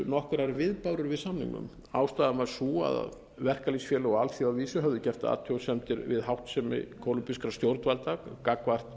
nokkrar viðbárur við samningnum ástæðan var sú að verkalýðsfélög á alþjóðavísu höfðu gert athugasemdir við háttsemi kólumbískra stjórnvalda gagnvart